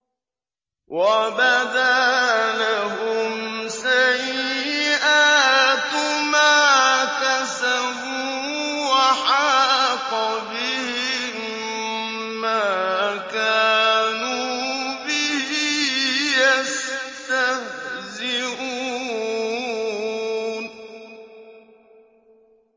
وَبَدَا لَهُمْ سَيِّئَاتُ مَا كَسَبُوا وَحَاقَ بِهِم مَّا كَانُوا بِهِ يَسْتَهْزِئُونَ